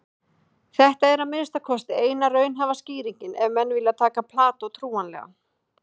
Þetta er að minnsta kosti eina raunhæfa skýringin ef menn vilja taka Plató trúanlegan.